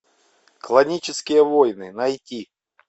клонические войны найти